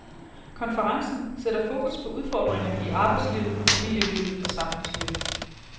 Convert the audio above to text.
Konferencen sætter fokus på udfordringerne i arbejdslivet, familielivet og samfundslivet.